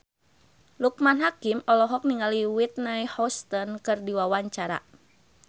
Loekman Hakim olohok ningali Whitney Houston keur diwawancara